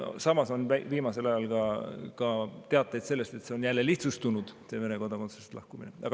Samas on viimasel ajal ka teateid sellest, et Vene kodakondsusest lahkumine on jälle lihtsustunud.